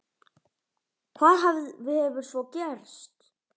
Hvað hefur svo gerst?